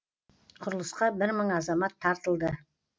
құрылысқа бір мың азамат тартылды